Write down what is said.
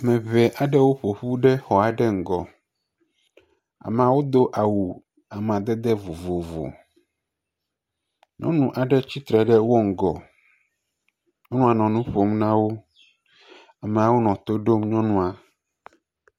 Ɖevi aɖewo ƒoƒu ɖe xɔ aɖe ŋgɔ, amawo do awu amadede vovovo, nyɔnu aɖe ts atsitre ɖe woƒe ŋgɔ nɔ nu ƒom na wo, ameawo nɔ to ɖom nyɔnua.